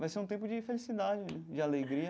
Vai ser um tempo de felicidade, de alegria.